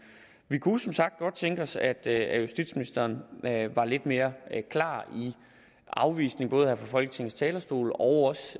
vi kunne jo som sagt godt tænke os at at justitsministeren var lidt mere klar i afvisningen både her fra folketingets talerstol og